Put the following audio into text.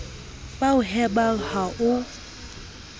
ba o hemang ha o